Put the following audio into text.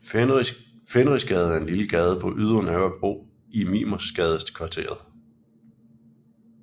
Fenrisgade er en lille gade på Ydre Nørrebro i Mimersgadekvarteret